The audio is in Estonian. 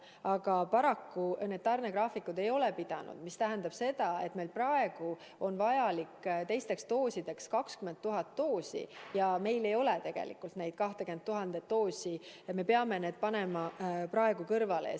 Aga paraku need tarnegraafikud ei ole pidanud, mis tähendab seda, et meil praegu on vaja teisteks doosideks 20 000 doosi, aga meil ei ole tegelikult neid 20 000 doosi ja me peame praegu osa kõrvale panema.